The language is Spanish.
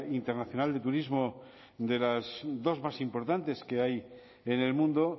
internacional de turismo de las dos más importantes que hay en el mundo